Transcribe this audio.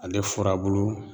Ale furabulu